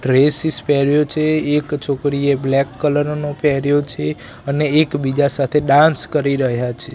Dresses પેર્યો છે એક છોકરીએ બ્લેક કલર નું પેર્યો છે અને એકબીજા સાથે ડાન્સ કરી રહ્યા છે.